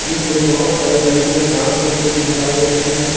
जिसमें बहोत सारी लड़कियां डांस करते हुए दिखाई दे रही है।